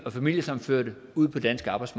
os